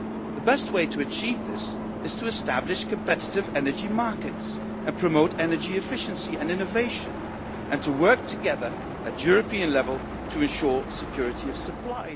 The best way to achieve this is to establish competitive energy markets and promote energy efficiency and innovation, and to work together at European level to ensure security of supply.